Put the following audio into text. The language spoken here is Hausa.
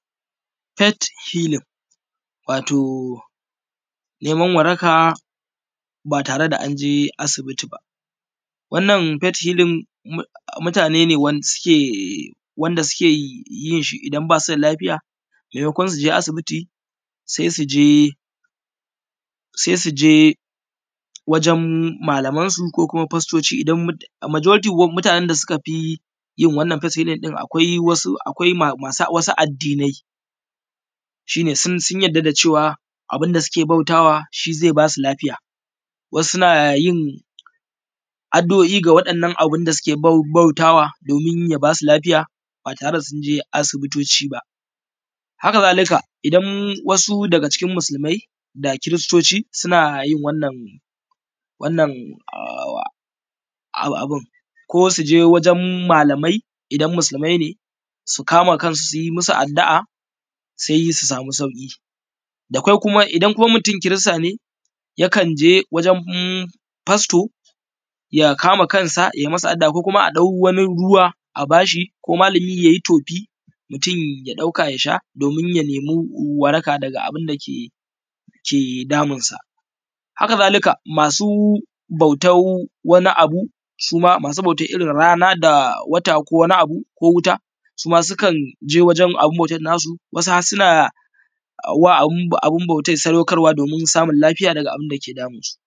het helin wato neman waraka ba tare da anje asibiti ba wannan het helin mutane ne wanda suke yinshi idan basu da lafiya mai makon suje asibiti sai je sai su je wajen malaman su ko kuma fastoci majority mutane da suka fiyin wannan het helin akwai mutane masu wata addinai shine sun yarda da cewa abunda suke bautawa shine zai basu lafiya wasu nayin addu’oi ga wannan abunda suke bautawa domin ya basu lafiya ba tare da sunje asibitoci ba ba haka zalika idan wasu daga cikin musulmai ko kiristoci sunayin wannan abun ko suje wajen malamai idan musulmai ne su kama kansu suyi masu addu’a sai su samu sauki idan kuma mutum kirista ne ya kanje wajen fasto ya kama kansa yai masa addu’a ko kuma a dau wani ruwa a bashi ko malami yayi tofi mutun ya dauka yasha domin yayi waraka daga abun da ke damun sa haka zalika masu bautan wani abu suma masu bautan irrin rana da wata ko wuta su sukan je wajen abun bautan nasu wasu harsuna ma abun bautan sadau karwa domin samun lafiya daga abun da ke damunsu